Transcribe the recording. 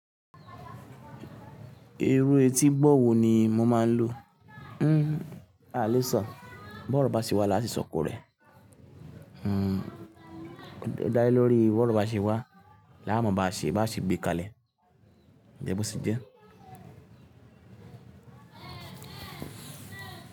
Irú etí gbọ́ wo ni mo máa ń lo. Hmmm àléṣọ, bọ́ro bá se wá la se sọko rẹ̀. Hmm dá lé lórí bọ́ró bá se wá, láma bá à ṣe bá à ṣe gbé kalẹ̀. Ǹjẹ́ bó ṣé jẹ́?